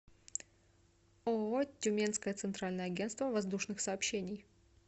ооо тюменское центральное агентство воздушных сообщений